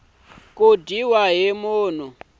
ku dyiwa hi munhu kumbe